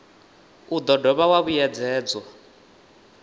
u do dovha wa vhuyedzedzwa